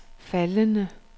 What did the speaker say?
faldende